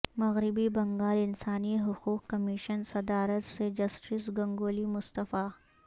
مغربی بنگال انسانی حقوق کمیشن صدارت سے جسٹس گنگولی مستعفی